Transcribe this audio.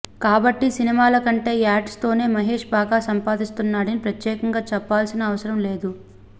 కాబట్టి సినిమాల కంటే యాడ్స్ తోనే మహేష్ బాగా సంపాదిస్తున్నాడని ప్రత్యేకంగా చెప్పాల్సిన అవసరం లేదు